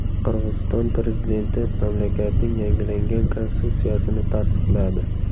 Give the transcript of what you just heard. Qirg‘iziston prezidenti mamlakatning yangilangan konstitutsiyasini tasdiqladi.